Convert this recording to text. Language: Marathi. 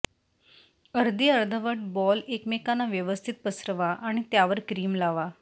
अर्धी अर्धवट बॉल एकमेकांना व्यवस्थित पसरवा आणि त्यावर क्रीम लावा